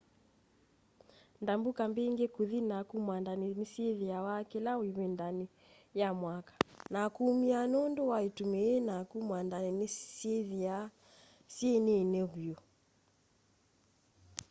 ndambũka mbĩngĩ kũthi naku mwandanĩ nĩsyĩthĩawa kĩla ĩvindanĩ ya mwaka na kũũmĩa nũndũ wa ĩtũmi ii naku mwandanĩ syĩthaa syĩ nini vyu